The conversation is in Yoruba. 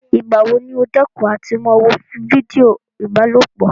Ìgbà wo ni óò dẹ́kun àti máa wo fídíò ìbálòpọ̀?